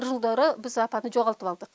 бір жылдары біз апаны жоғалтып алдық